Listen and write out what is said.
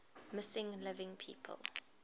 missing living people